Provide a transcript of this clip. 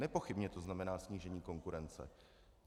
Nepochybně to znamená snížení konkurence.